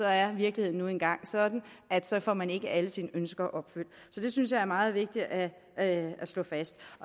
er virkeligheden nu engang sådan at så får man ikke alle sine ønsker opfyldt det synes jeg er meget vigtigt at at slå fast